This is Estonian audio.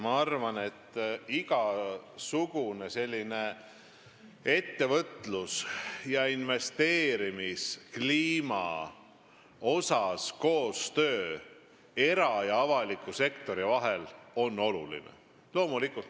Ma arvan, et igasugune koostöö era- ja avaliku sektori vahel ettevõtlus- ja investeerimiskliima vallas on oluline.